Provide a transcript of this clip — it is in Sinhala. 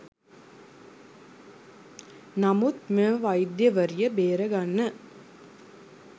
නමුත් මෙම වෛද්‍යවරිය බේරාගන්න